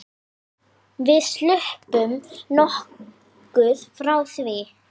Við sluppum nokkuð frá því.